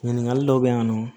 Ɲininkali dɔw bɛ yen nɔ